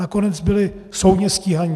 Nakonec byli soudně stíháni.